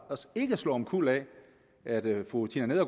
os ikke slå omkuld af at fru tina